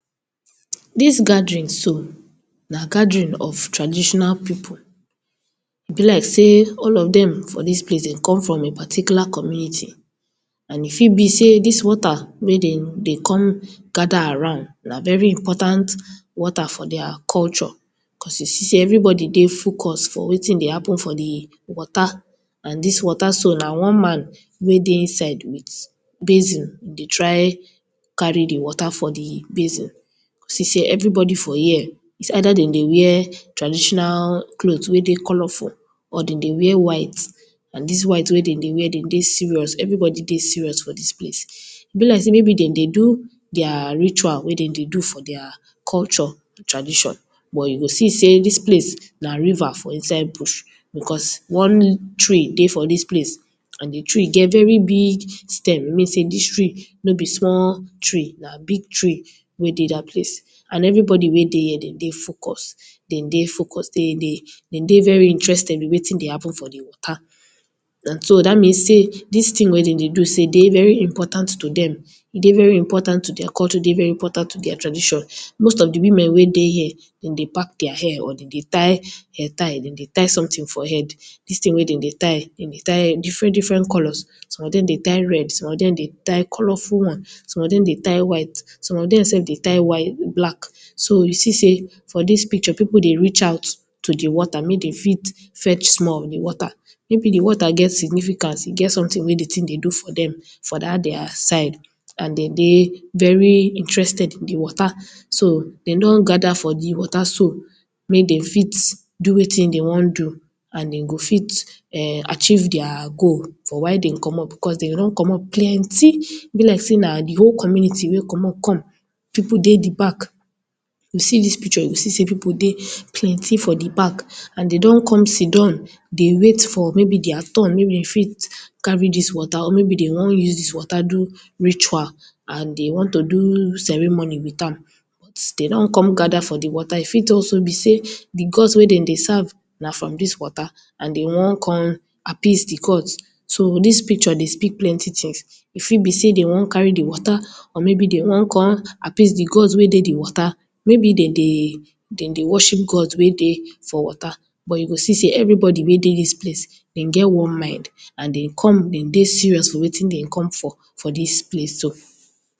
Dis gathering so na gathering of traditional people, e bi like say all of dem for dis place come from particular community and e fit bi say dis water wey dem dey come gather around na very important water for dia culture cos you see say everybody dey focus for wetin dey happen for di water and dis water so, na one man wey dey inside with basin dey try carry di water for di basin, you see say everybody for here, is either dem dey wear traditional cloth wey dey colorful or dem dey wear white and dis white wey dem dey wear, dem dey serious, everybody dey serious for dis place, e bi like say dem do do dia ritual wey dem dey do for dia culture, dia tradition cos you go see say dis place na river for inside bush cos one tree dey for dis place and di tree dey very big stem e mean say dis tree no bi small tree, na big tree wey dey dat place and everybody wey dey here dem dey focus, dem dey focus, dem dey very interested in wetin dey happen for dat water so dat mean say dis tin wey dem dey do dey very important to dem, e dey very important to dia culture e dey very important to dia culture, e dey very important to dia tradition, most of di women wey dey here dem dey pack dia hair or dem dey tie hair tie, dem dry tie something for head, dis tin wey dem dey tie, dem dey tie different different colors, some of dem dey tie red, some of dem dey tie colorful one, some of dem dey tie white, some of dem self tie white black so you see say people dey reach out to the water make dem fit fetch small of di water, maybe di water get significant, e get something wey e dey do for dem for Dat dia side and dem dey very interested in di water so dem don gather for di water so make dem fit do wetin dem wetin do and dem go fit achieve dia goal for why dem commot because dem run commot plenty e bi like say na di whole community commot come, people dey di back, you see dis picture you see say people dey plenty for di back and dem don come siddon maybe dia turn wey dem fit carry dis water, maybe dem won use dis water do ritual and dem want to do ceremony with am but dem don con gather for di water, e fit also bi say di gods wey dem serve na from dis water and dem won come appease di gods, so dis picture dey speak plenty tí st, ẹ fit bí say dem won carry di water or maybe dem won come appease di gods wey dey di water wey bi dem dey worship gods wey dey for water but you go see say everybody wey dey dis place dem get one mind and dem come serious for wetin dem come for, for dis place so